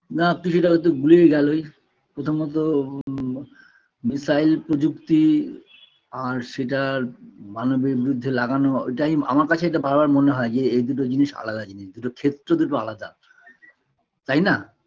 না কিছুটা হয়তো ভুলেই গেলোই প্রথমত উ missile প্রযুক্তি আর সেটার মানবের বিরুদ্ধে লাগানো এটাই আমার কাছে এটা বারবার মনে হয় যে এদুটো জিনিস আলাদা জিনিস দুটোর ক্ষেত্র দুটো আলাদা তাইনা